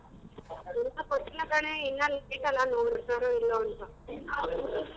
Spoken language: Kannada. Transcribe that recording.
ಇನ್ನ ಕೊಟ್ಟಿಲ್ಲ ಕಣೆ ಇನ್ನೊಂದ್ ಇಲ್ಲೋ ಅಂತ .